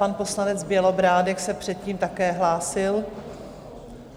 Pan poslanec Bělobrádek se předtím také hlásil.